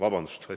Aitäh!